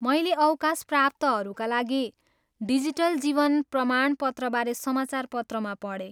मैले अवकाशप्राप्तहरूका लागि डिजिटल जीवन प्रमाणपत्रबारे समाचारपत्रमा पढेँ।